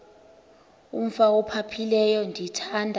umf ophaphileyo ndithanda